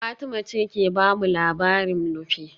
Fatima ce ke ba mu labarin Nupe